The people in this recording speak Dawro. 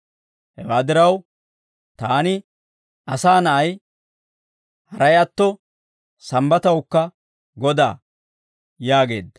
Hewaa diraw, taani, Asaa Na'ay, haray atto, Sambbatawukka Godaa» yaageedda.